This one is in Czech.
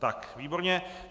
Tak, výborně.